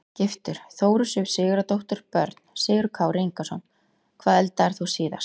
Giftur: Þóru Sif Sigurðardóttur Börn: Sigurður Kári Ingason Hvað eldaðir þú síðast?